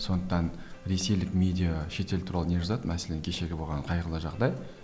сондықтан ресейлік медиа шетел туралы не жазады мәселен кешегі болған қайғылы жағдай